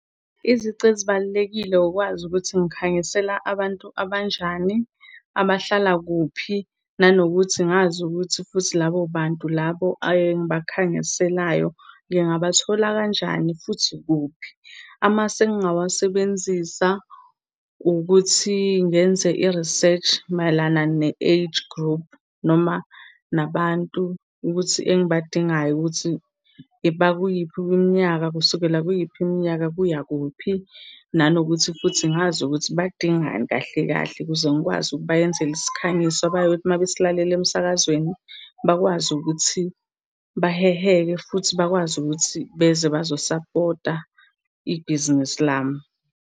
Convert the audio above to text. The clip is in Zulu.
Izici ezibalulekile wukwazi ukuthi ngikhangisela abantu abanjani, abahlala kuphi. Nanokuthi, ngazi ukuthi futhi labobantu labo engibakhangiselayo ngingabathola kanjani, futhi kuphi? Amasu engingawasebenzisa ukuthi ngenze i-research mayelana ne-age group, noma nabantu ukuthi engibadingayo ukuthi bakuyiphi iminyaka, kusukela kuyiphi iminyaka, kuya kuphi? Nanokuthi futhi ngazi ukuthi badingani kahle kahle? Ukuze ngikwazi ukubayenzela isikhangiso abayothi uma besilalele emsakazweni bakwazi ukuthi baheheke, futhi bakwazi ukuthi beze bazo-support-a ibhizinisi lami.